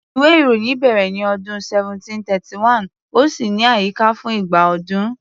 Ìwé-ìròyìn bẹ̀rẹ̀ ní ọdún 1731, ó sì wà ní àyíká fún igba ọdún.